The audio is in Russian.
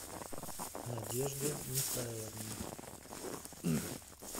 надежде михайловне